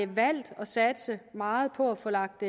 valgt at satse meget på at få lagt